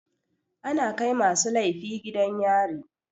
Ana kai masu laifi gidan yari.